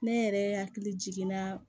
Ne yɛrɛ hakili jiginna